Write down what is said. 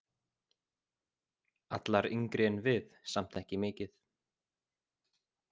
Allar yngri en við, samt ekki mikið.